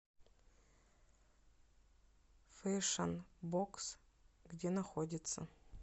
фэшн бокс где находится